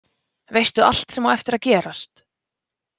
Veistu allt sem á eftir að gerast?